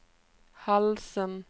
halsen